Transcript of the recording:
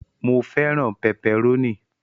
Mó fẹràn pẹpẹrónì.